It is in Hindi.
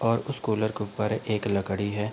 और उस कूलर के उपर एक लकड़ी है।